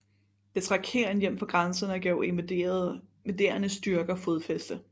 Det trak hæren hjem fra grænserne og gav invaderende styrker fodfæste